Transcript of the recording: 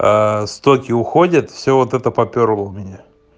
стоки уходят все вот это попёрло у меня